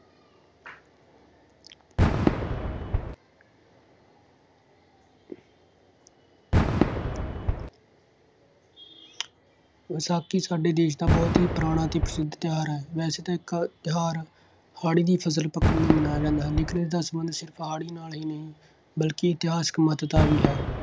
ਵਿਸਾਖੀ ਸਾਡੇ ਦੇਸ਼ ਦਾ ਬਹੁਤ ਹੀ ਪੁਰਾਣਾ ਅਤੇ ਪ੍ਰਸਿੱਧ ਤਿਉਹਾਰ ਹੈ। ਵੈਸੇ ਤਾਂ ਇੱਕ ਤਿਉਹਾਰ ਹਾੜ੍ਹੀ ਦੀ ਫਸਲ ਪੱਕਣ ਲਈ ਮਨਾਇਆ ਜਾਂਦਾ ਹੈ। ਲੇਕਿਨ ਇਸਦਾ ਸੰਬੰਧ ਸਿਰਫ ਹਾੜ੍ਹੀ ਨਾਲ ਹੀ ਨਹੀਂ ਬਲਕਿ ਇਤਿਹਾਸਕ ਮਹੱਤਤਾ ਵੀ ਹੈ।